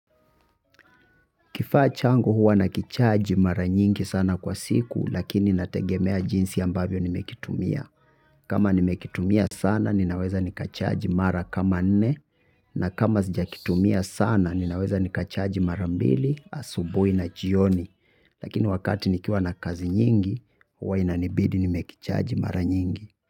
Kifaa changu huwa nakichaji mara nyingi sana kwa siku, lakini inategemea jinsi ambavyo nimekitumia. Kama nimekitumia sana, ninaweza nikachaji mara kama nne, na kama sijakitumia sana, ninaweza nikachaji mara mbili, asubuhi na jioni. Lakini wakati nikiwa na kazi nyingi, huwa inanibidi nimekichaji mara nyingi.